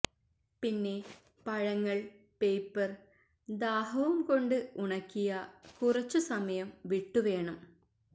പിന്നെ പഴങ്ങൾ പേപ്പർ ദാഹവും കൊണ്ട് ഉണക്കിയ കുറച്ചു സമയം വിട്ടു വേണം